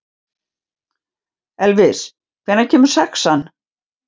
Elvis, hvenær kemur sexan?